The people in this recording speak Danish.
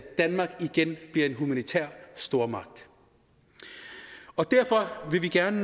danmark igen bliver en humanitær stormagt og derfor vil vi gerne